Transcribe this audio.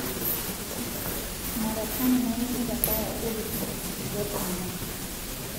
Marekani nayieu nitabaya Urusi nkisiligat enyenak.